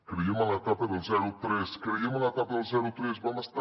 creiem en l’etapa del zero tres creiem en l’etapa del zero tres vam estar